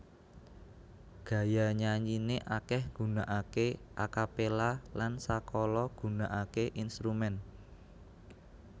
Gaya nyanyine akeh gunakake a capella lan sakala gunakake instrumen